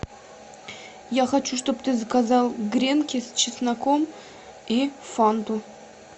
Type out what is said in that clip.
я хочу чтоб ты заказал гренки с чесноком и фанту